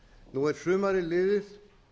nú er sumarið liðið